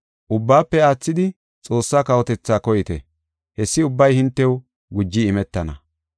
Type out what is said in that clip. Ubbaafe aathidi Xoossa kawotetha koyite; hessi ubbay hintew guji imetana.